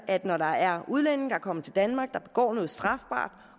at når der er udlændinge der er kommet til danmark der begår noget strafbart